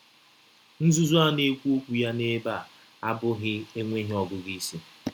Nzuzu a na - ekwu okwu ya n’ebe a abụghị enweghị ọgụgụ isi